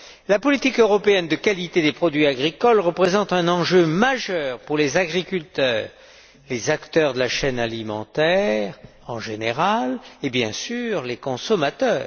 La politique européenne de qualité des produits agricoles représente un enjeu majeur pour les agriculteurs, les acteurs de la chaîne alimentaire en général et, bien sûr, les consommateurs.